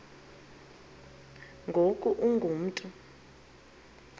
ngoku ungu mntu